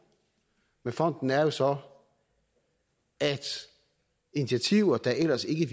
med fonden er jo så at initiativer der ellers ikke